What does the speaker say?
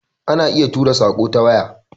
Ana iya tura saƙo ta waya